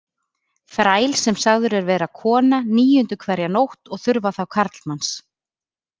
Þræl sem sagður er vera kona níundu hverja nótt og þurfa þá karlmanns.